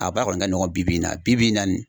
a ba kɔni ka nɔgɔn bi bi in na bi bi in na nin